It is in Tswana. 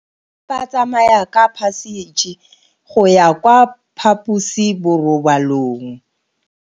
Bana ba tsamaya ka phašitshe go ya kwa phaposiborobalong.